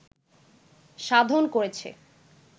সাধন করেছে